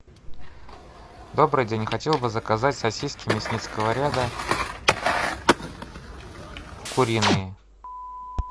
добрый день хотел бы заказать сосиски мясницкого ряда куриные